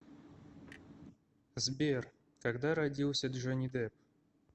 сбер когда родился джонни депп